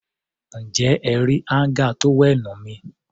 Ǹjẹ́ ẹ rí áńgà tówẹ́ẹ̀nù mi?